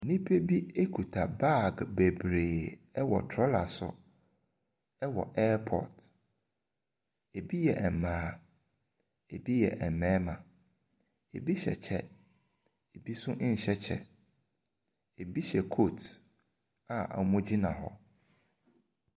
Nnipa bi kuta bag bebree ɛwɔ trolla so ɛwɔ airport. Ebi yɛ mmaa, ebi yɛ mmarima. Ebi hyɛ kyɛ, ebi nso nhyɛ kyɛ, ebi hyɛ coat a wɔgyina hɔ.